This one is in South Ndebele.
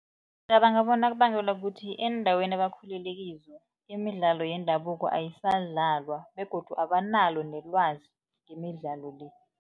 Ngicabanga bona kubangelwa kukuthi eendaweni ebakhulele kizo, imidlalo yendabuko ayisadlalwa begodu abanalo nelwazi ngemidlalo le.